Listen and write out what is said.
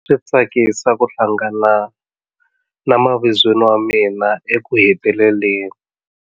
A swi tsakisa ku hlangana na mavizweni wa mina ekuheteleleni.